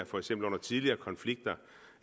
for eksempel under tidligere konflikter